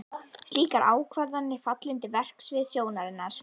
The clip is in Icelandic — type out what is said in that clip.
Slíkar ákvarðanir falla undir verksvið stjórnarinnar.